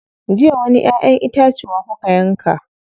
Jiya wani ƴaʼƴen itace kuka yanka.